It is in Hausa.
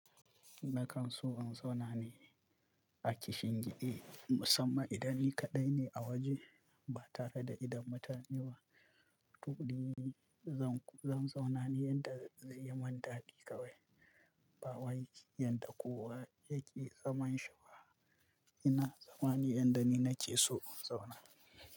Na kan so in zauna ne a kishingide musamman idan ni kaɗai ne a waje ba tare da idan mutane ba. Tuƙuru zan, zan zauna ne yanda zai yi min dadi kawai ba wai yanda kowa yake zaman shi ba. Ina zama ne yanda ni nake so in zauna.